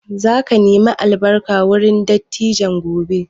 Za ka nemi albarka wurin dattijan gobe?